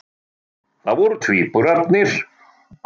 Það voru tvíburarnir